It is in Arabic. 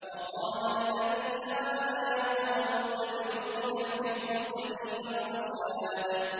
وَقَالَ الَّذِي آمَنَ يَا قَوْمِ اتَّبِعُونِ أَهْدِكُمْ سَبِيلَ الرَّشَادِ